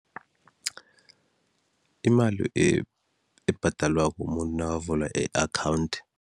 Imali ebhadalwako umuntu nakavula i-akhawundi.